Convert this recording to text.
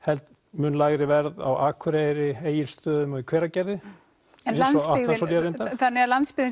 mun lægri verð á Akureyri Egilsstöðum og í Hveragerði eins og Atlantsolía reyndar þannig landsbyggðin